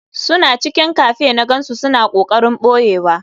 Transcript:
Suna cikin cafe na gansu suna kokarin boyewa.